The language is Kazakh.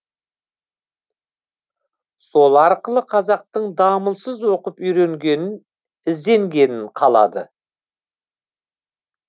сол арқылы қазақтың дамылсыз оқып үйренгенін ізденгенін қалады